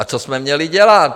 A co jsme měli dělat?